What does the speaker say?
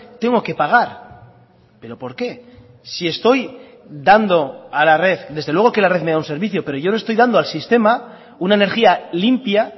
tengo que pagar pero por qué si estoy dando a la red desde luego que la red me da un servicio pero yo le estoy dando al sistema una energía limpia